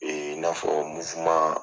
Ee n'afɔ